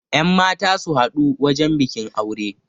yanmata su haɗu wajen bikin aure